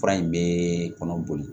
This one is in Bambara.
Fura in bɛ kɔnɔ boli